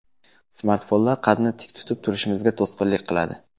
Smartfonlar qadni tik tutib turishimizga to‘sqinlik qiladi.